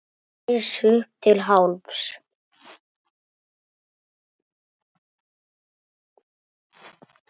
Hann reis upp til hálfs.